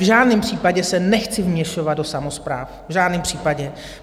V žádném případě se nechci vměšovat do samospráv, v žádném případě.